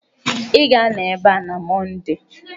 Ị ga-anọ ebe a na Mọnde!